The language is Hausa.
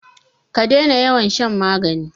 ka dena yawan shan magani!